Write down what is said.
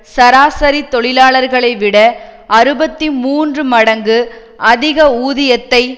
சராசரி தொழிலாளர்களை விட அறுபத்தி மூன்று மடங்கு அதிக ஊதியத்தை